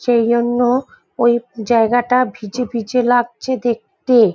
সেইজন্য ওই জায়গাটা ভিজে ভিজে লাগছে দেখতে।